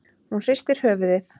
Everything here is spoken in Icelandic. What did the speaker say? Hún hristir höfuðið.